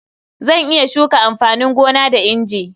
Zan iya shuka amfanin gona da inji.